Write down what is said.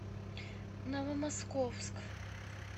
новомосковск